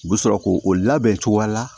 U bɛ sɔrɔ k'o o labɛn cogoya la